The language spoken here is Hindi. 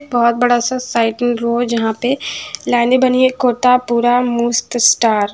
बहुत बड़ा सा साइकिल रोज यहाँ पे लाइनें बनी हैं एक कोता पूरा मूस्त स्टार --